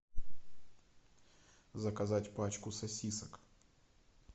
заказать пачку сосисок